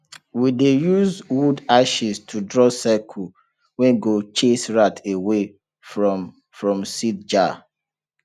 we dey use wood ashes to draw circle wey go chase rat away from from seed jar